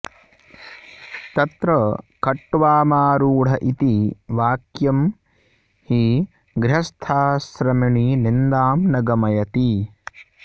तत्र खट्वामारूढ इति वाक्यं हि गृहस्थाश्रमिणि निन्दां न गमयति